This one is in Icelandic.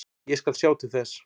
Ég skal sjá til þess.